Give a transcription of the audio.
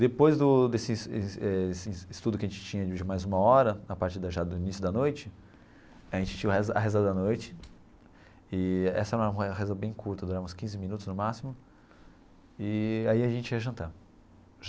Depois do desse estudo que a gente tinha de mais uma hora, a partir já do início da noite, a gente tinha a reza a reza da noite, e essa era uma reza bem curta, durava uns quinze minutos no máximo, eee aí a gente ia jantar.